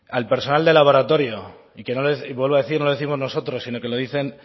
al personal de laboratorio y que y vuelvo a decir no lo décimos nosotros sino que lo dicen